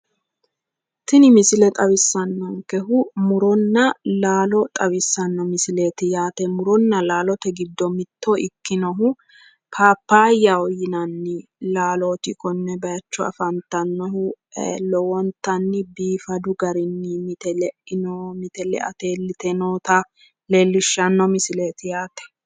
Tini misile xawissannonkehu muronna laalo xawissanno misileeti yaate. Muronna laalote giddo mitto ikkinohu paappaayyaho yinanni laalooti konne bayicho afantannohu. Lowontanni biifadu garinni mite leino mite leate iillite noota leellishshanno misileeti yaate.